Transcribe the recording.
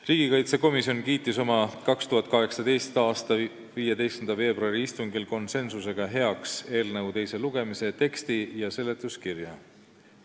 Riigikaitsekomisjon kiitis oma 2018. aasta 15. veebruari istungil konsensuslikult heaks eelnõu teise lugemise teksti ja seletuskirja.